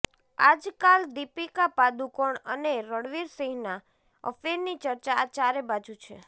આજકાલ દીપિકા પાદુકોણ અને રણવીર સિંહના અફેરની ચર્ચા ચારેબાજુ છે